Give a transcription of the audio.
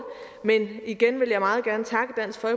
men jeg vil igen